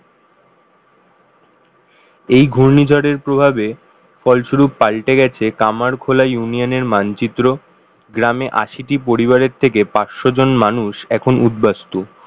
এই ঘূর্ণিঝড়ের প্রভাবে ফলস্বরূপ পাল্টে গেছে কামারখোলা union র মানচিত্র গ্রামে আশিটি পরিবারের থেকে পাঁচশো জন মানুষ এখন উদ্বাস্তু